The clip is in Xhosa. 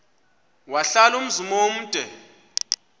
wahlala umzum omde